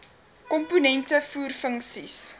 komponente voer funksies